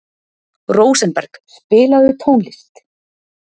Rósenberg, spilaðu tónlist.